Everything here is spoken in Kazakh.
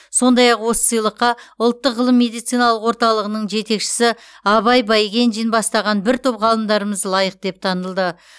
сондай ақ осы сыйлыққа ұлттық ғылыми медициналық орталығының жетекшісі абай байгенжин бастаған бір топ ғалымдарымыз лайық деп танылды